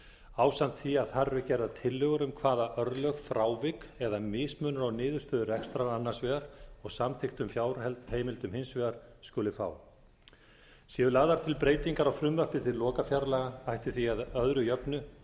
ásamt því að þar eru gerðar tillögur um hvaða örlög frávik eða mismunur á niðurstöðu rekstrar annars vegar og samþykktum fjárheimildum hins vegar skuli fá séu lagðar til breytingar á frumvarpi til lokafjárlaga ætti því að öðru jöfnu